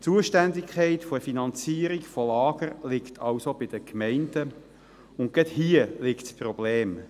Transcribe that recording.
Die Zuständigkeit der Finanzierung von Lagern liegt also bei den Gemeinden, und gerade darin liegt das Problem.